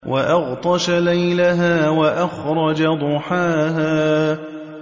وَأَغْطَشَ لَيْلَهَا وَأَخْرَجَ ضُحَاهَا